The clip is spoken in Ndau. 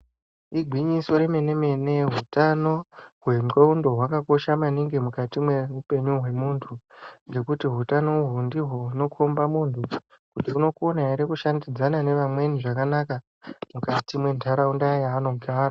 Igwinyiso remene mene utano hwendlondo hwakakosha maningi mukati mweupenyu hwemunhu ngekuti hutano uhu ndihwo hunokomba munhu kuti unokona ere kushandidzana nevamweni zvakanaka mukati mwentharaunda yaanogara .